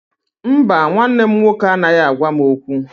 Mba, nwanne m nwoke anaghị agwa m okwu